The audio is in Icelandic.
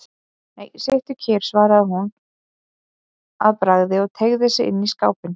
Nei, sittu kyrr, svaraði hún að bragði og teygði sig inn í skápinn.